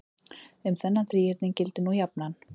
Um þennan þríhyrning gildir nú jafnan